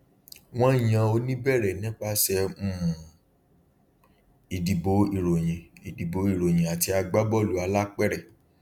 wọn yan oníbẹrẹ nípasẹ um ìdìbò ìròyìn ìdìbò ìròyìn àti agbábọọlù alápèrẹ